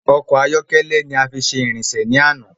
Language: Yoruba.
Ọkọ ayọkẹlẹ ní a fi ṣe ìrìnsè ni ana